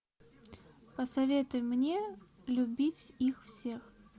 посоветуй мне любить их всех